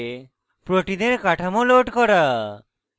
protein data bank pdb থেকে protein কাঠামো load করা